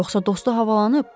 Yoxsa dostu havalanıb?